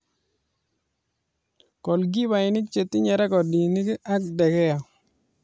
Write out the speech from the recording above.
Golkipainik che tinye rekodinik ak de gea